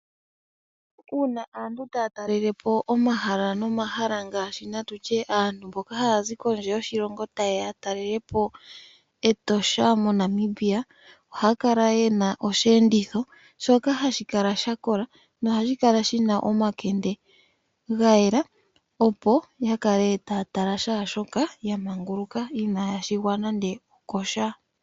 Uuna aantu taa talele po omahala nomahala natye aantu mboka haya zi kondje yoshilongo tayeya ya talele po Etosha moNamibia ohaya kala yena osheenditho shoka hashi kala kola nohadhi kala shina omakende ga yela opo ya kala taya tala shaashika inaya shigwa nando okosha.